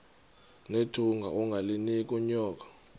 nethunga ungalinik unyoko